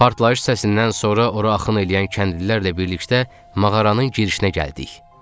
Partlayış səsindən sonra ora axın eləyən kəndlilərlə birlikdə mağaranın girişinə gəldik.